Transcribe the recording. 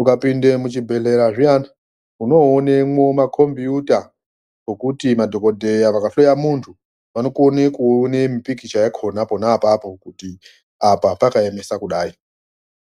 Ukapinda muchibhendleya zviyani unoonamwo makombuuta ekuti madhokodheya vakahloya muntu vanokone kuona mipikicha yakhona pona apapo kuti apa pakaemesa kudai.